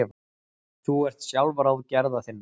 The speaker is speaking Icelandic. Þú ert sjálfráð gerða þinna.